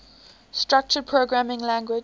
structured programming languages